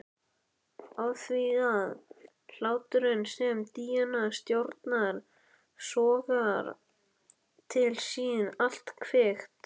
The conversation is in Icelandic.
Afþvíað hláturinn sem Díana stjórnar sogar til sín allt kvikt.